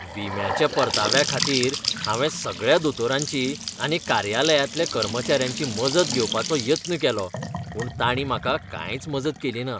विम्याच्या परताव्याखातीर हांवें सगळ्या दोतोरांची आनी कार्यालयांतल्या कर्मचाऱ्यांची मजत घेवपाचो यत्न केलो. पूण तांणी म्हाका कांयच मजत केलीना.